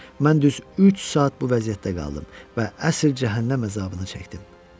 Mən düz üç saat bu vəziyyətdə qaldım və əsl cəhənnəm əzabını çəkdim.